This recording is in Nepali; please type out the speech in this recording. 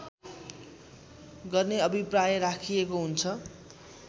गर्ने अभिप्राय राखिएको हुन्छ